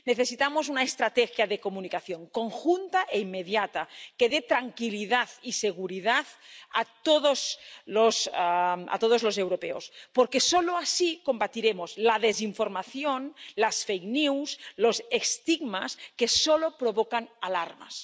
Necesitamos una estrategia de comunicación conjunta e inmediata que dé tranquilidad y seguridad a todos los europeos, porque solo así combatiremos la desinformación, las fakes news los estigmas que solo provocan alarmas.